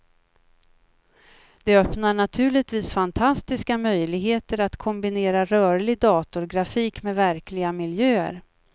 Det öppnar naturligtvis fantastiska möjligheter att kombinera rörlig datorgrafik med verkliga miljöer.